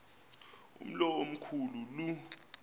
umlo omkhu lu